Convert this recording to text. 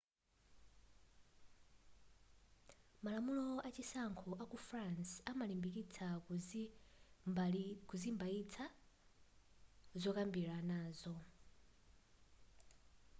malamulo achisankho aku france amalimbikitsa kuzimbaitsa zokambiranazo